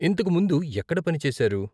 ఇంతకు ముందు ఎక్కడ పని చేశారు?